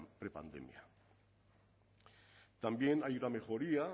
prepandemia también hay una mejoría